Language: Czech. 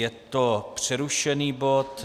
Je to přerušený bod